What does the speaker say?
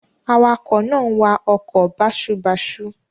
Awakọ̀ náà wa ọkọ̀ báṣubàṣu.